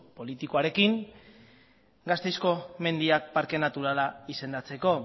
politikoarekin gasteizko mendiak parke naturala izendatzeko